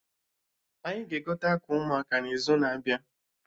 Anyị ga-egote akwa ụmụaka n'izu na-abịa